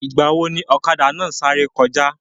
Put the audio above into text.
Ìgbàwo ni ọ̀kadà náà sáré kọjá?